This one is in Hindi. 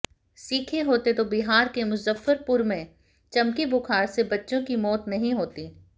सीखे होते तो बिहार के मुज़फ्फरपुर में चमकी बुखार से बच्चों की मौत नहीं होती